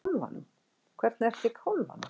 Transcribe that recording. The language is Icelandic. Hvernig ertu í kálfanum?